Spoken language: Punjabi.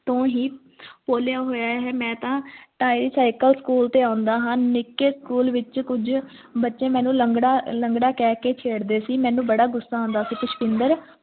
ਤੂੰ ਵੀ ਖੋਲ੍ਹਿਆ ਹੋਇਆ ਹੈ ਮੈਂ ਤਾਂ tricycle school ਤੇ ਆਉਂਦਾ ਹਾਂ ਨਿੱਕੈ school ਦੇ ਵਿਚ ਕੁਝ ਬੱਚੇ ਮੈਨੂੰ ਲੰਗੜਾ ਲੰਗੜਾ ਕਹਿ ਕੇ ਛੇੜਦੇ ਸੀ ਮੈਨੂੰ ਬੜਾ ਗੁੱਸਾ ਆਉਂਦਾ ਸੀ ਪੁਸ਼ਪਿੰਦਰ